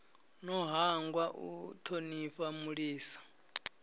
no hangwa u thonifha mulisa